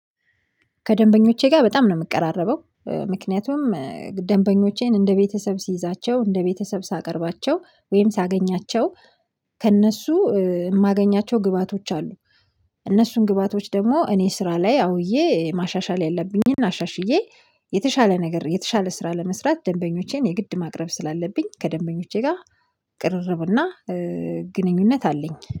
ከደንበኞቼጋ በጣም ነው ምቀራረበው ምክንያቱም ደንበኞቼን እንደ ቤተሰብ ሲይዛቸው እንደ ቤተሰብ ሳቀርባቸው ወይም ሳገኛቸው ከእነሱ የማገኛቸው ግብአቶች አሉ። እነሱን ግባቶች ደግሞ እኔ ስራ ላይ አውዬ ማሻሻል ያለብኝን አሻሽዬ የተሻለ ነገር የተሻለ ስራ ለመስራት ደንበኞቼን የግድ ማቅረብ ስላለብኝ ከደንበኞቼ ጋር ቅርርብና ግንኙነት አለኝ